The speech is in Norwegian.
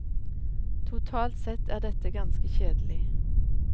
Totalt sett er dette ganske kjedelig.